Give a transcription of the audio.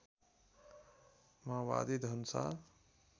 माओवादी धनुषा